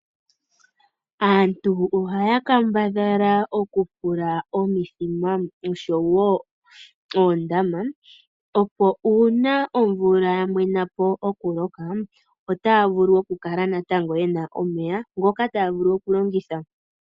Aantu ohaya kambadhala okufula omithima noshowo oondama opo uuna omvula ya mwena po omuloka, otaya kala natango ye na omeya ngoka taya vulu oku longitha.